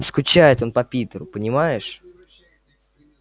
скучает он по питеру понимаешь